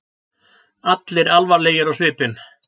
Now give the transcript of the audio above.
Allir alvarlegir á svipinn.